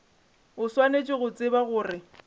o swanetše go tseba gore